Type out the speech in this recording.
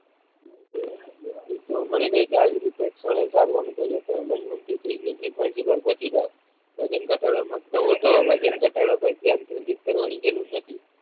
મળી ગઈ તો આવી રીતે તમે મનગમતી ચીજની સિક્વન્સી પર પોહચી જાવ વજન ધટાડવા માંગતા હોવ તો વજન ધટાડવા પર ધ્યાન કેન્દ્રિત કરવાની જરૂર નથી.